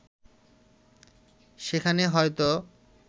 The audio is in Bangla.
সেখানে হয়তো